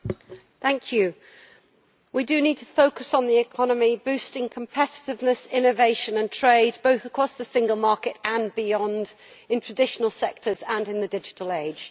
Mr President, we need to focus on the economy, boosting competitiveness, innovation and trade, both across the single market and beyond, in traditional sectors and in the digital age.